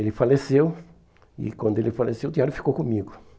Ele faleceu e quando ele faleceu o diário ficou comigo.